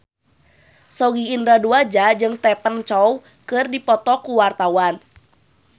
Sogi Indra Duaja jeung Stephen Chow keur dipoto ku wartawan